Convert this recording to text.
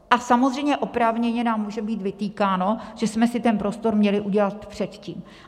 A samozřejmě oprávněně nám může být vytýkáno, že jsme si ten prostor měli udělat předtím.